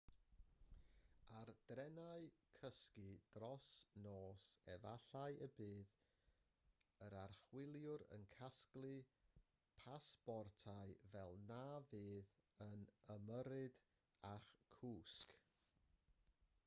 ar drenau cysgu dros nos efallai y bydd yr archwiliwr yn casglu pasbortau fel na fydd yn ymyrryd â'ch cwsg